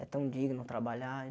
É tão digno trabalhar.